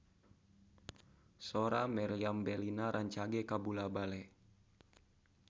Sora Meriam Bellina rancage kabula-bale